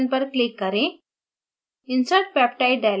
insert peptide button पर click करें